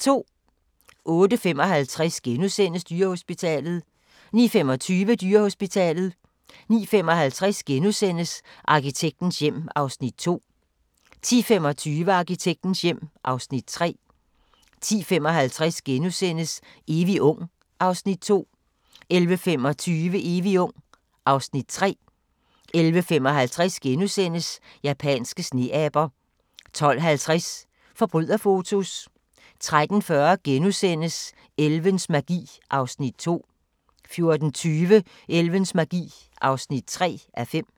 08:55: Dyrehospitalet * 09:25: Dyrehospitalet 09:55: Arkitektens hjem (Afs. 2)* 10:25: Arkitektens hjem (Afs. 3) 10:55: Evig ung (Afs. 2)* 11:25: Evig ung (Afs. 3) 11:55: Japanske sneaber * 12:50: Forbryderfotos 13:40: Elvens magi (2:5)* 14:20: Elvens magi (3:5)